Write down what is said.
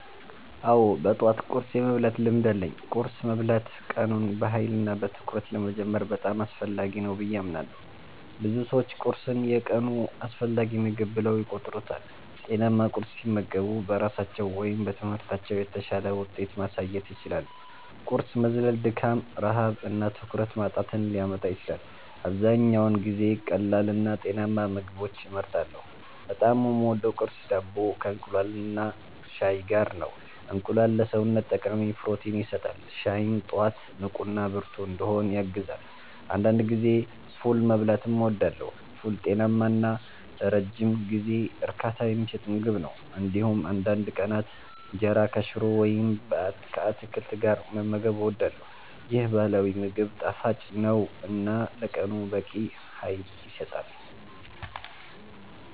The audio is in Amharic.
አዎ፣ በጠዋት ቁርስ የመብላት ልምድ አለኝ። ቁርስ መብላት ቀኑን በኃይልና በትኩረት ለመጀመር በጣም አስፈላጊ ነው ብዬ አምናለሁ። ብዙ ሰዎች ቁርስን የቀኑ አስፈላጊ ምግብ ብለው ይቆጥሩታል። ጤናማ ቁርስ ሲመገቡ በስራቸው ወይም በትምህርታቸው የተሻለ ውጤት ማሳየት ይችላሉ። ቁርስ መዝለል ድካም፣ ረሃብ እና ትኩረት ማጣትን ሊያመጣ ይችላል። አብዛኛውን ጊዜ ቀላልና ጤናማ ምግቦችን እመርጣለሁ። በጣም የምወደው ቁርስ ዳቦ ከእንቁላልና ሻይ ጋር ነው። እንቁላል ለሰውነት ጠቃሚ ፕሮቲን ይሰጣል፣ ሻይም ጠዋት ንቁና ብርቱ እንድሆን ያግዛል። አንዳንድ ጊዜ ፉል መብላትም እወዳለሁ። ፉል ጤናማ እና ለረጅም ጊዜ እርካታ የሚሰጥ ምግብ ነው። እንዲሁም አንዳንድ ቀናት እንጀራ ከሽሮ ወይም ከአትክልት ጋር መመገብ እወዳለሁ። ይህ ባህላዊ ምግብ ጣፋጭ ነው እና ለቀኑ በቂ ኃይል ይሰጣል።